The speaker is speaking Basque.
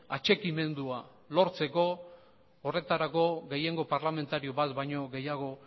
atxikimendua lortzeko horretarako gehiengo parlamentario bat baino gehiago